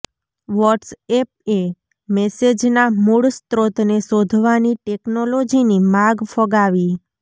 watts એપએ મેસેજના મૂળ સ્ત્રોતને શોધવાની ટેક્નોલોજીની માગ ફગાવી